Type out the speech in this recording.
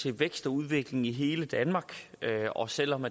til vækst og udvikling i hele danmark og selv om